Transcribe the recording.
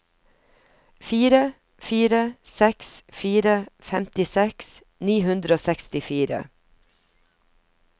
fire fire seks fire femtiseks ni hundre og sekstifire